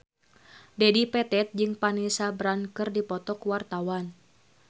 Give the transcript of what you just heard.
Dedi Petet jeung Vanessa Branch keur dipoto ku wartawan